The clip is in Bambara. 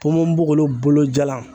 Ponponpogolon bolo jalan